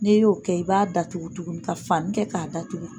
N'e ye o kɛ i b'a datugu tuguni ka fani kɛ k'a datugu.